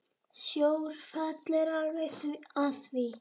Sjór falli alveg að því.